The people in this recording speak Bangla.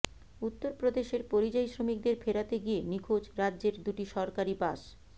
উত্তরপ্রদেশের পরিযায়ী শ্রমিকদের ফেরাতে গিয়ে নিখোঁজ রাজ্যের দুটি সরকারি বাস